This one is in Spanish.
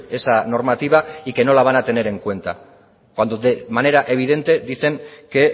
esa normativa y que no la van a tener en cuenta cuando de manera evidente dicen que